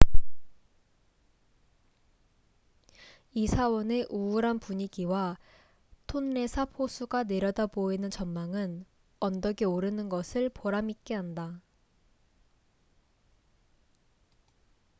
이 사원의 우울한 분위기와 톤레삽 호수가 내려다보이는 전망은 언덕에 오르는 것을 보람 있게 한다